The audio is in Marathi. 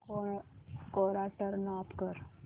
कोरा टर्न ऑफ कर